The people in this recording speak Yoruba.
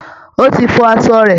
Ó ti fọ aṣọ rẹ̀